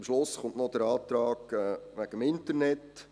Am Schluss kommt noch der Antrag wegen des Internets.